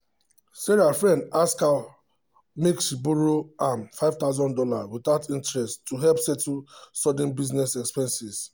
sarah friend ask her make she borrow am five thousand dollars without interest to help settle sudden business expenses.